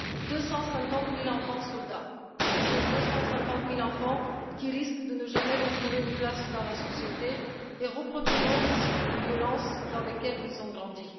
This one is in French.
Deux cent cinquante mille enfants soldats, ce sont deux cent cinquante mille enfants qui risquent de ne jamais retrouver de place dans la société et qui reproduiront les cycles de violence dans lesquels ils ont grandi.